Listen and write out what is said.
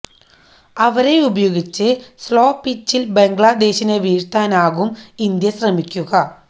അവരെ ഉപയോഗിച്ച് സ്ലോ പിച്ചില് ബംഗ്ലാദേശിനെ വീഴ്ത്താനാവും ഇന്ത്യ ശ്രമിക്കുക